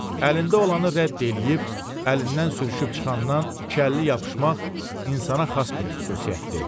Əlində olanı rədd eləyib, əlindən sürüşüb çıxandan iki əlli yapışmaq insana xas bir xüsusiyyətdir.